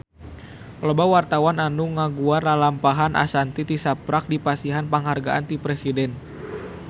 Loba wartawan anu ngaguar lalampahan Ashanti tisaprak dipasihan panghargaan ti Presiden